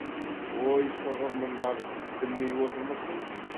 ой сығыр мұндар білмей отырмысың